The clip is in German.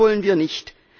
Das wollen wir nicht.